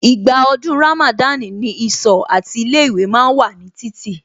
Ìgbà ọdún Ramada ni ìsọ̀ àti ilé ìwé ma ń wà ní títì